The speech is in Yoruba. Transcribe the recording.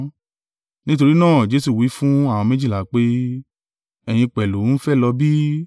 Nítorí náà Jesu wí fún àwọn méjìlá pé, “Ẹ̀yin pẹ̀lú ń fẹ́ lọ bí?”